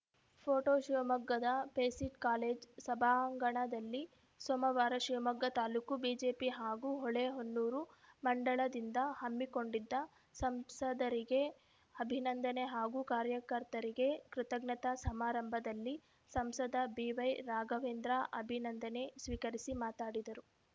photo ಶಿವಮೊಗ್ಗದ PESIT college ಸಭಾಂಗಣದಲ್ಲಿ ಸೋಮವಾರ ಶಿವಮೊಗ್ಗ ತಾಲೂಕು ಬಿಜೆಪಿ ಹಾಗೂ ಹೊಳೆಹೊನ್ನೂರು ಮಂಡಲದಿಂದ ಹಮ್ಮಿಕೊಂಡಿದ್ದ ಸಂಸದರಿಗೆ ಅಭಿನಂದನೆ ಹಾಗೂ ಕಾರ್ಯಕರ್ತರಿಗೆ ಕೃತಜ್ಞತಾ ಸಮಾರಂಭದಲ್ಲಿ ಸಂಸದ ಬಿವೈರಾಘವೇಂದ್ರ ಅಭಿನಂದನೆ ಸ್ವೀಕರಿಸಿ ಮಾತಾಡಿದರು